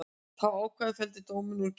Þessi ákvæði felldi dómarinn úr gildi